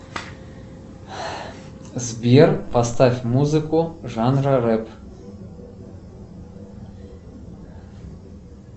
сбер поставь музыку жанра рэп